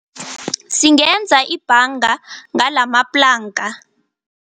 Singenza ibhanga ngalamaplanka.